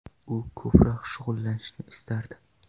U ko‘proq shug‘ullanishni istardi.